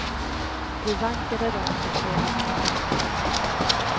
Vi vankade runt i flera timmar. punkt